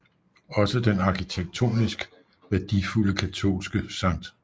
Også den arkitektonisk værdifulde katolske St